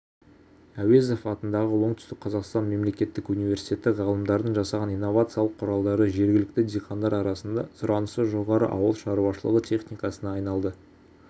әуезов атындағы оңтүстік қазақстан мемлекеттік университеті ғалымдарының жасаған инновациялық құралдары жергілікті диқандар арасында сұранысы жоғары ауыл шаруашылығы техникасына айналды